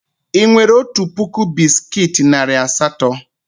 Ị nwere otu puku bisikiiti narị asatọ?